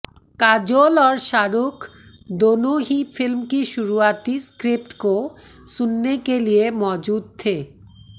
काजोल और शाहरुख दोनों ही फिल्म की शुरुआती स्क्रिप्ट को सुनने के लिए मौजूद थे